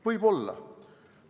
Võib-olla.